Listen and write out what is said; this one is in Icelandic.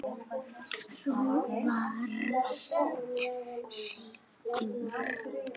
Þú varst seigur.